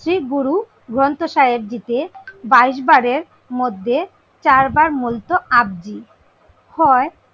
শিখ গুরু গ্রন্থ সাহেব জীকে বাইশ বারের মধ্যে চার বার মূলত আব্জি হয়।